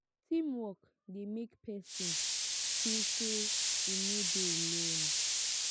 teamwork de make persin feel say im no de alone